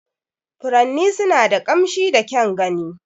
Furanni suna da ƙamshi da kyan gani.